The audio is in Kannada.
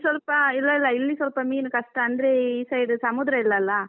ಸ್ವಲ್ಪಇಲ್ಲ ಇಲ್ಲ ಇಲ್ಲಿ ಸ್ವಲ್ಪ ಮೀನ್ಕಷ್ಟ, ಅಂದ್ರೆ ಈ side ಸಮುದ್ರ ಇಲ್ಲಲ್ಲ.